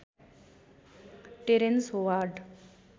terrains Howard